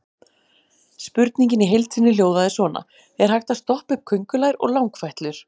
Spurningin í heild sinni hljóðaði svona: Er hægt að stoppa upp köngulær og langfætlur?